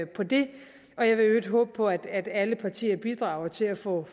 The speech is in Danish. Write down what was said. på det og jeg vil i øvrigt håbe på at alle partier bidrager til at få